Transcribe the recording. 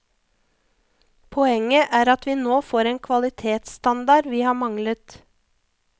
Poenget er at vi nå får en kvalitetsstandard vi har manglet.